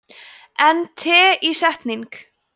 en teísetning